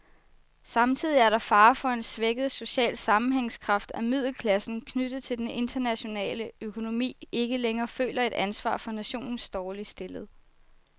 Samtidig er der fare for en svækket social sammenhængskraft, at middelklassen, knyttet til den internationale økonomi, ikke længere føler et ansvar for nationens dårligt stillede.